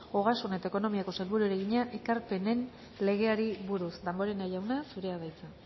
ogasun eta ekonomiako sailburuari egina ekarpenen legeari buruz damborenea jauna zurea da hitza